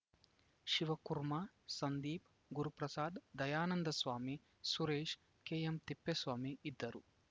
ಶಿವಕುಮಾರ್‌ ಸಂದೀಪ್‌ ಗುರುಪ್ರಸಾದ್‌ ದಯಾನಂದ ಸ್ವಾಮಿ ಸುರೇಶ್‌ ಕೆಎಂತಿಪ್ಪೇಸ್ವಾಮಿ ಇದ್ದರು